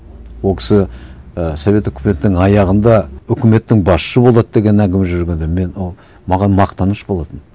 ол кісі і совет үкіметінің аяғында үкіметтің басшысы болады деген әңгіме жүргенде мен маған мақтаныш болатын